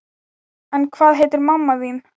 En hvað heitir mamma þín?